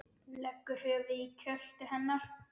Leggur höfuðið í kjöltu hennar.